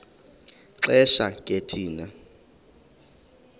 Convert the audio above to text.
xesha ke thina